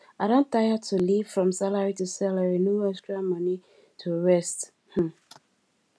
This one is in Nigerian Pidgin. i don tire to live from salary to salary no extra money to rest um